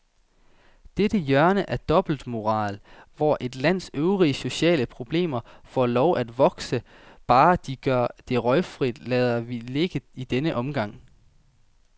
Dette hjørne af dobbeltmoral, hvor et lands øvrige sociale problemer får lov at vokse, bare de gør det røgfrit, lader vi ligge i denne omgang.